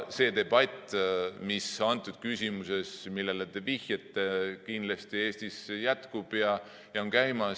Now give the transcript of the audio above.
See debatt küsimuses, millele te vihjate, kindlasti Eestis on käimas ja jätkub.